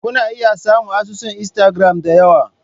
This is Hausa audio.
Kuna iya samun asusun Instagram da yawa.